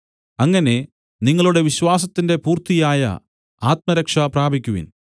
അങ്ങനെ നിങ്ങളുടെ വിശ്വാസത്തിന്റെ പൂർത്തിയായ ആത്മരക്ഷ പ്രാപിക്കുവിൻ